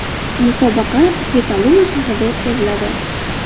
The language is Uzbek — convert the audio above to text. Musobaqa Petaluma shahrida o‘tkaziladi.